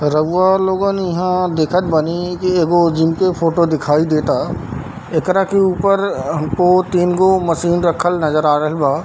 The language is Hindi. रउवा लोगन यहाँ देखत बानी की एगो जिम के फोटो दिखाई देता एकरा के ऊपर हमको तीन गो मशीन रखल नजर आ रहल बा।